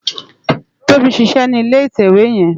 Tobi n ṣiṣè ni ilé itèwé yèn